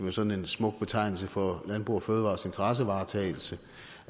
er sådan en smuk betegnelse for landbrug fødevarers interessevaretagelse